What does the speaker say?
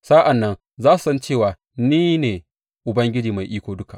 Sa’an nan za su san cewa ni ne Ubangiji Mai Iko Duka.’